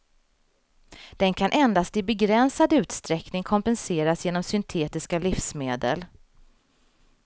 Den kan endast i begränsad utsträckning kompenseras genom syntetiska livsmedel.